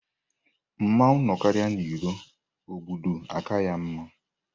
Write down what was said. Mmanwụ nọkarịa n'ilo, ogbodu aka ya mma.